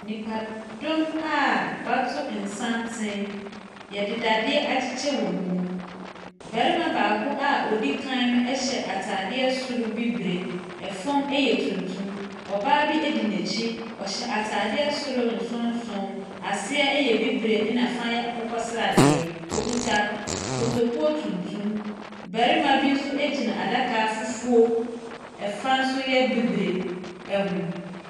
Nnipadɔm a wɔato santene. Wɔde dadeɛ akyekyɛ wɔn mu. Barima baako a ɔdi kan no hyɛ atadeɛ soro bibire, fam yɛ tuntum. Ɔbaa bi di n'akyi. Ɔhyɛ atadeɛ soro nsonson, aseɛ yɛ bibire na fa yɛ akokɔsradeɛ. Wɔkita kotokuo tuntum. Barima bi nso gyina adaka fufuo, ɛfa nso yɛ bibire ho.